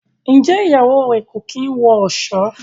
Njé Ìyàwó rẹ o kín wọ ọṣọ?